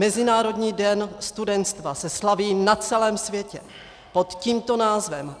Mezinárodní den studenstva se slaví na celém světě pod tímto názvem.